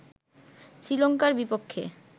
শ্রীলঙ্কার বিপক্ষে